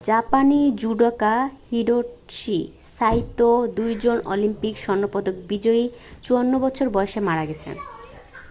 জাপানি judoka Hitoshi Saito 2জন Olympic স্বর্ণপদক বিজয়ী 54 বছর বয়সে মারা গেছেন